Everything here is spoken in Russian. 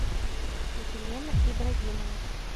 елена ибрагимова